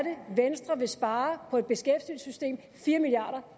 venstre vil spare på beskæftigelsessystemet fire milliard